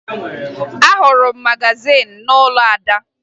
Ahụrụ m magazin n'ụlọ Ada